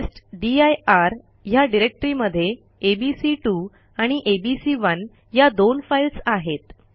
टेस्टदीर ह्या डिरेक्टरीमध्ये एबीसी2 आणि एबीसी1 या दोन फाईल्स आहेत